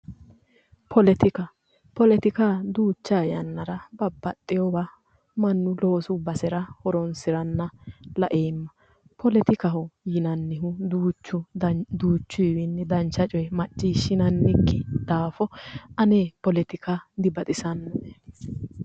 Politika, politika duucha yannara babbaxeyowa mannu loosu basera horonsiranna laeemma, politikaho yinannihu duuchuwa duuchu gari dancha coye macciishshinannikki daafo ane politika dibaxisanoe